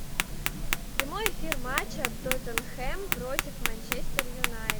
прямой эфир матча тоттенхэм против манчестер юнайтед